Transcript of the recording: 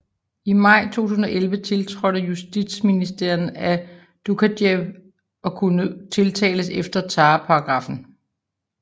I maj 2011 tiltrådte Justitsministeren at Doukajev kunne tiltales efter terrorparagraffen